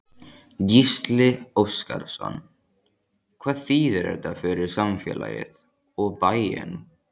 Gísli Óskarsson: Hvað þýðir þetta fyrir samfélagið, og bæinn?